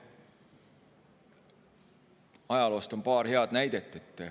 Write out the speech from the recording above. Ajaloost on paar head näidet.